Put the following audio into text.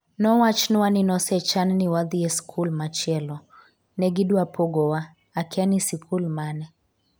nowachnwa ni nosechan ni wadhi e sikul machielo, ne gi dwa pogowa, akia ni sikul mane